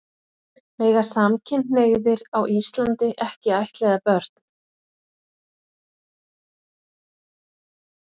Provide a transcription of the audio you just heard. Mega samkynhneigðir á Íslandi ekki ættleiða börn?